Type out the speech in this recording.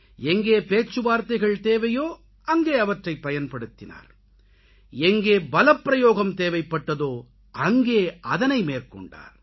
எங்கே பேச்சு வார்த்தைகள் தேவையோ அங்கே அவற்றைப் பயன்படுத்தினார் எங்கே பலப்பிரயோகம் தேவைப் பட்டதோ அங்கே அதனை மேற்கொண்டார்